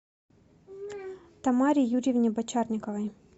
тамаре юрьевне бочарниковой